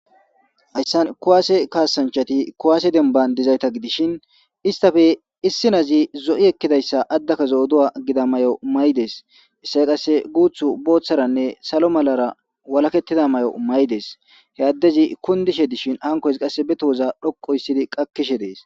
hayssan kowaase kaasanchati kowaase demban dizayta gidishin istafe issinazi zo7i ekkidayssa addaka zo7oduwa gida mayo may7dees issay qasse guuthu booththaranne salo malara walakettida may7o may7des he addezi kundishe dishin hankoys qasse be tooza dhoqo issidi qakkishe dees.